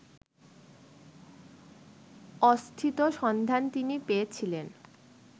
অস্থিত সন্ধান তিনি পেয়েছিলেন